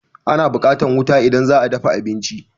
Ana buƙatan wuta idan za a dafa abinci.